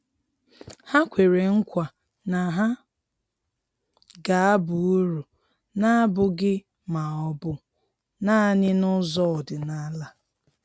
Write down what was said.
Ha kwere nkwa na ha ga-aba uru, na-abụghị ma ọ bụ naanị n'ụzọ ọdịnala.